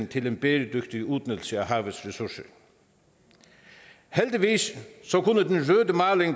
til en bæredygtig udnyttelse af havets ressourcer heldigvis